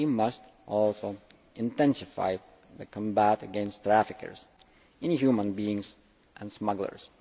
We must also intensify the fight against traffickers in human beings and smugglers.